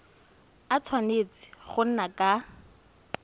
a tshwanetse go nna ka